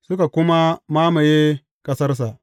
Suka kuma mamaye ƙasarsa.